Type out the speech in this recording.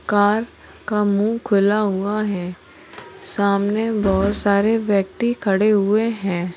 Car का मुंह खुला हुआ है सामने बहुत सारे व्यक्ति खड़े हुए हैं।